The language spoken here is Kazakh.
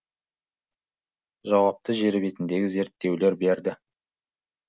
жауапты жер бетіндегі зерттеулер берді